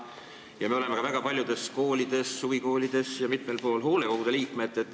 Ja me oleme ka väga paljudes koolides, huvikoolides ja mitmel pool mujal hoolekogu liikmed.